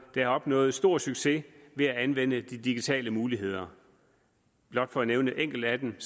har opnået stor succes ved at anvende de digitale muligheder blot for at nævne enkelte af dem